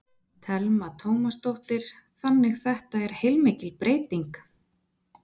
Telma Tómasdóttir: Þannig þetta er heilmikil breyting?